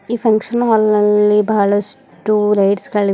ಈ function hall ನಲ್ಲಿ ಬಹಳಷ್ಟು ಲೈಟ್ಸ್ ಗಳಿವೆ ಮತ್--